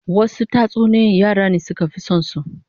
Wasu tatsuniyoyin yara ne suka fi son su